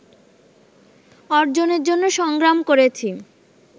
অর্জনের জন্য সংগ্রাম করেছি